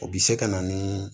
O bɛ se ka na ni